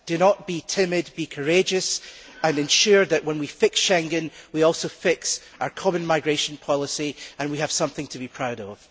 Do not be timid, be courageous and ensure that when we fix Schengen, we also fix our common migration policy and we have something to be proud of.